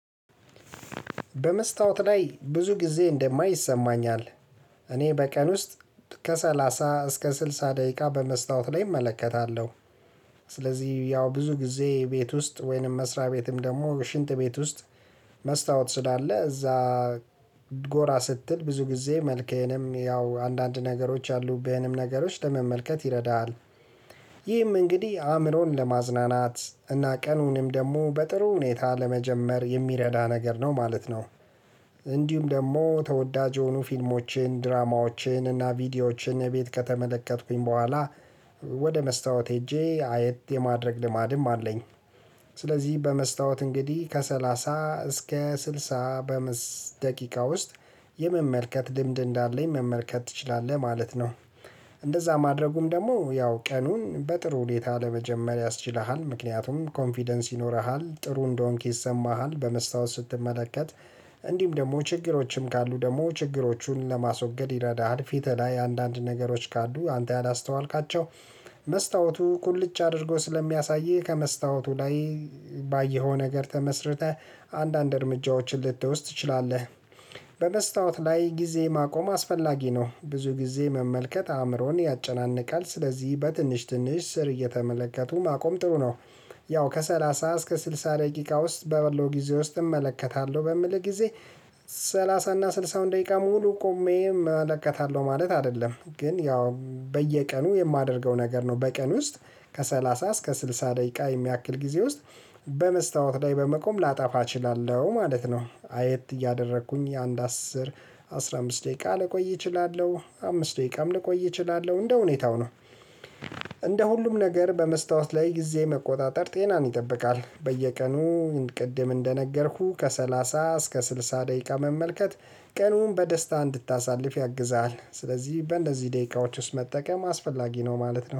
በመስታወት ላይ ብዙ ጊዜ እንደማይ ይሰማኛል። እኔ በቀን ውስጥ ከሰላሳ እስከ ስልሳ ደቂቃ በመስታወት ላይ እመለከታለሁ። ስለዚህ ያው ብዙ ጊዜ ቤት ውስጥ ወይንም መስሪያ ቤትም ደግሞ ሽንት ቤት ውስጥ መስታወት ስላለ እዛ ጎራ ስትል ብዙ ጊዜ መልከህንም ያው አንዳንድ ነገሮች አሉብህንም ነገሮች ለመመልከት ይረዳሃል። ይህም እንግዲህ አእምሮን ለማዝናናት እና ቀኑንም ደግሞ በጥሩ ሁኔታ ለመጀመር የሚረዳ ነገር ነው ማለት ነው። እንዲሁም ደግሞ ተወዳጅ የሆኑ ፊልሞችን ድራማዎችን እና ቪዲዮዎችን ቤት ከተመለከትኩኝ በኋላ ወደ መስታወት ሂጄ አይት የማድረግ ልማድም አለኝ። ስለዚህ በመስታወት እንግዲህ ከሰላሳ እስከ ስልሳ በምስት ደቂቃ ውስጥ የመመልከት ድምድም እንዳለኝ መመልከት ትችላለህ ማለት ነው። እንደዛ ማድረጉም ደግሞ ያው ቀኑን በጥሩ ሁኔታ ለመጀመር ያስችለሃል ምክንያቱም ኮንፊደንስ ይኖርሃል ጥሩ እንደሆንክ ይሰማሃል በመስታወት ስትመለከት። እንዲህም ደግሞ ችግሮችም ካሉ ደግሞ ችግሮቹን ለማስወገድ ይረዳሃል ፊት ላይ አንዳንድ ነገሮች ካሉ አንተ ያላስተዋልካቸው መስታወቱ ቁልጭ አድርጎ ስለሚያሳይህ ከመስታወቱ ላይ ባየኸው ነገር ተመስርተህ አንዳንድ እርምጃዎችን ልትወስድ ትችላለህ። በመስታወት ላይ ጊዜ ማቆም አስፈላጊ ነው ብዙ ጊዜ መመልከት አእምሮን ያጨናንቃል ስለዚህ በትንሽ ትንሽ ስር እየተመለከቱ ማቆም ጥሩ ነው። ያው ከሰላሳ እስከ ስልሳ ደቂቃ ውስጥ በበለው ጊዜ ውስጥ እመለከታለሁ በሚል ጊዜ። ሰላሳ እና ስልሳ አሁን ደቂቃ ሙሉ ቆሜ እመለከታለሁ ማለት አይደለም ግን ያው በየቀኑ የማደርገው ነገር ነው። በቀን ውስጥ ከሰላሳ እስከ ስልሳ ደቂቃ የሚያክል ጊዜ ውስጥ በመስታወት ላይ በመቆም ላጠፋ እችላለሁ ማለት ነው። አየት እያደረኩኝ አንድ አስር አስራ አምስት ደቂቃ ልቆይ እችላለሁ አምስት ደቂቃም ልቆይ እችላለሁ እንደ ሁኔታው ነው። እንደ ሁሉም ነገር በመስታወት ላይ ጊዜ መቆጣጠር ጤናን ይጠብቃል። በየቀኑ ቅድም እንደነገርኩህ ከሰላሳ እስከ ስልሳ ደቂቃ መመልከት ቀኑን በደስታ እንድታሳልፍ ያግዛል። ስለዚህ በእንደዚህ ደቂቃዎች ውስጥ መጠቀም አስፈላጊ ነው ማለት ነው